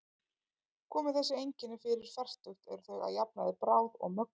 Komi þessi einkenni fyrir fertugt eru þau að jafnaði bráð og mögnuð.